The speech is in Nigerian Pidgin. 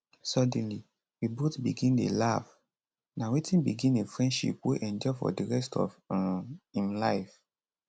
suddenly we both begin dey laugh na wetin begin a friendship wey endure for di rest of um im life